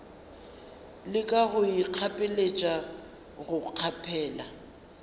leka go ikgapeletša go kgaphela